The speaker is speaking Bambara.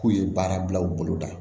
K'u ye baara bila u bolo da